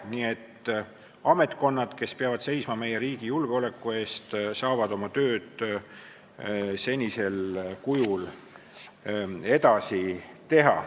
Nii et ametkonnad, kes peavad seisma meie riigi julgeoleku eest, saavad oma tööd senisel kujul edasi teha.